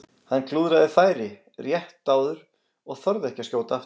Hann klúðraði færi rétt áður og þorði ekki að skjóta aftur.